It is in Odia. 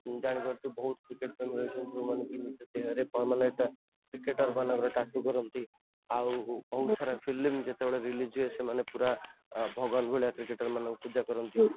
ତୁ ଜାଣିପାରୁଥିବୁ ବହୁତ ସାରା ଫିଲ୍ମ ଯେତେବେଳେ release ହୁଏ ସେତେବଳେ ଭଗବାନ ଙ୍କୁ ସେମାନେ ଡାକିକି ପୂଜା କରନ୍ତି